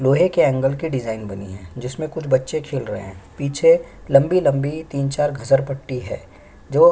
लोहे के एंगल की डिज़ाइन बनी है जिसमें कुछ बच्चे खेल रहे है पीछे लंबी -लंबी तीन चार घसरपट्टी है जो --